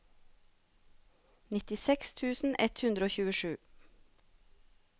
nittiseks tusen ett hundre og tjuesju